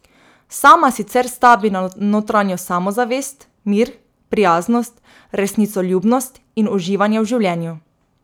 Sama sicer stavi na notranjo samozavest, mir, prijaznost, resnicoljubnost in uživanje v življenju.